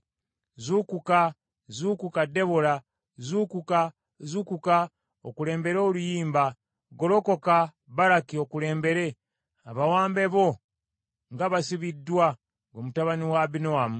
Zuukuka, zuukuka Debola zuukuka, zuukuka, okulembere oluyimba; golokoka, Baraki okulembere abawambe bo nga basibiddwa, ggwe mutabani wa Abinoamu.